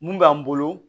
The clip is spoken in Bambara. Mun b'an bolo